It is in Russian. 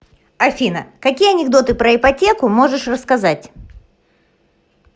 афина какие анекдоты про ипотеку можешь рассказать